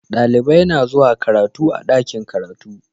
Dalibai na zuwa karatu a'dakin karatu.